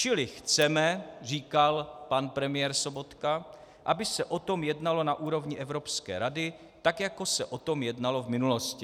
Čili chceme," říkal pan premiér Sobotka, "aby se o tom jednalo na úrovni Evropské rady, tak jako se o tom jednalo v minulosti."